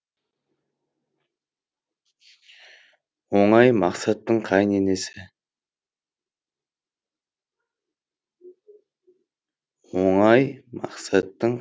оңай мақсаттың қайын енесі